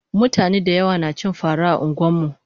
mutane dayawa nacin fara a anguwanmu